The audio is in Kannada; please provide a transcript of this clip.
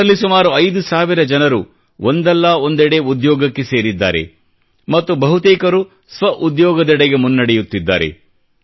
ಇವರಲ್ಲಿ ಸುಮಾರು 5 ಸಾವಿರ ಜನರು ಒಂದಲ್ಲಾ ಒಂದೆಡೆ ಉದ್ಯೋಗಕ್ಕೆ ಸೇರಿದ್ದಾರೆ ಮತ್ತು ಬಹುತೇಕರು ಸ್ವಉದ್ಯೋಗದೆಡೆಗೆ ಮುನ್ನಡೆಯುತ್ತಿದ್ದಾರೆ